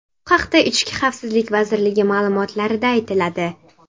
Bu haqda ichki xavfsizlik vazirligi ma’lumotlarida aytiladi.